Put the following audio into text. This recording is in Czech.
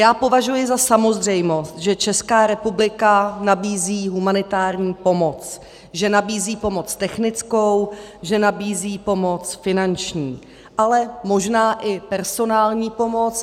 Já považuji za samozřejmost, že Česká republika nabízí humanitární pomoc, že nabízí pomoc technickou, že nabízí pomoc finanční, ale možná i personální pomoc.